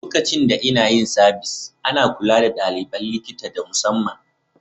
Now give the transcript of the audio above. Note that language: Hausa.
Lokacin da inna yin sabis, ana kulla da dalibain likita da musamman.